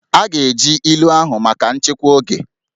A ga-eji ilu ahụ maka nchịkwa oge